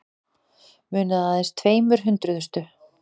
Munaði aðeins tveimur hundruðustu